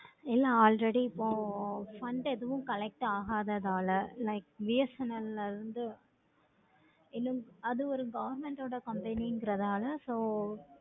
என already இப்போ fund எதுவும் collect ஆகாதது நாலா like BSNL இன்னு அது ஒரு government order company நாலா இப்போ